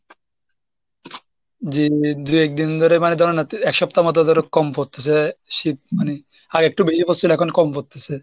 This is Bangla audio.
জি, যে দু একদিন ধরে মানে ধরেন এক সপ্তাহ মতো ধরো কম পড়তেসে শীত মানে আগে একটু বেশি পড়সিল এখন একটু কম পড়তেছে।